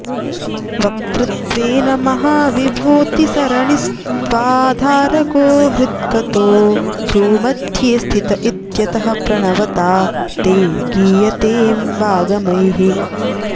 वक्तृत्वेन महाविभूतिसरणिस्त्वाधारगो हृद्गतो भ्रूमध्ये स्थित इत्यतः प्रणवता ते गीयतेऽम्बागमैः